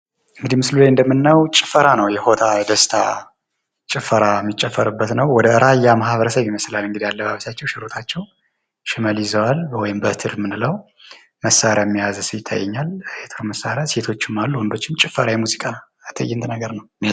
ምስሉ ላይ እንደምናየው ጭፈራ ነው የሆታ ፣ የደስታ ጭፈራ የሚጨፈርበት ነው። ወደ ራያ ማህበረሰብ ይመስላል እንግዲህ አለባበሳቸው። ሽመል ይዘዋል ወይም በትር የምንለው መሳሪያ የያዘ ሰው ይታየኛል የጦር መሳሪያ ፤ ሴቶችም አሉ ውንዶችም ጭፈራ የሙዚቃ ትዕይንት ነገር ነው።